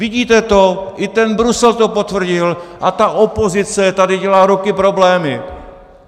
Vidíte to, i ten Brusel to potvrdil a ta opozice tady dělá roky problémy.